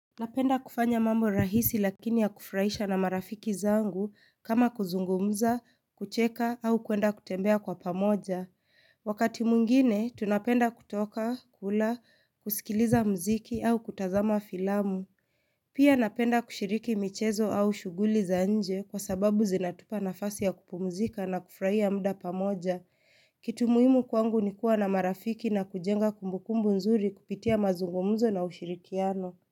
Napenda kufanya mambo rahisi lakini ya kufraisha na marafiki zangu kama kuzungumza, kucheka au kuenda kutembea kwa pamoja. Wakati mungine, tunapenda kutoka, kula, kusikiliza mziki au kutazama filamu. Pia napenda kushiriki michezo au shuguli za nje kwa sababu zinatupa nafasi ya kupumzika na kufraia mda pamoja. Kitu muimu kwangu nikua na marafiki na kujenga kumbukumbu nzuri kupitia mazungumzo na ushirikiano.